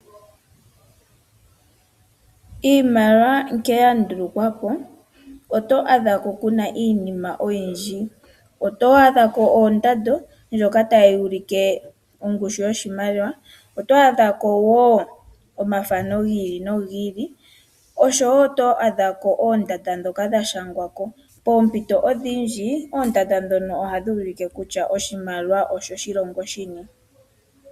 Iimaliwa nkene ya ndulukwa po oto adha ko kuna iinima oyindji. Oto adha ko ondando ndjoka tayi ulike ongushu yoshimaliwa. Oto adha ko wo omathano gi ili nogi ili. Osho wo oto adhako oondanda ndhoka dha shangwa ko. Poompito odhindji, oondanda ndhoka ohadhi ulike kutya oshimaliwa osho shilongo shini.